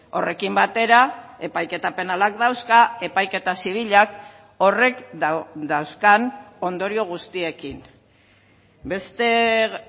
horrekin batera epaiketa penalak dauzka epaiketa zibilak horrek dauzkan ondorio guztiekin beste